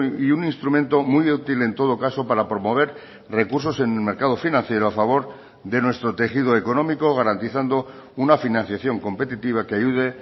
y un instrumento muy útil en todo caso para promover recursos en el mercado financiero a favor de nuestro tejido económico garantizando una financiación competitiva que ayude